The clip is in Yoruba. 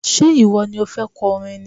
Ṣé ìwọ ni o fẹ́ kọ orin ni?